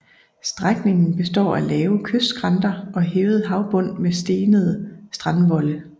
Strækningen består af lave kystskrænter og hævet havbund med stenede strandvolde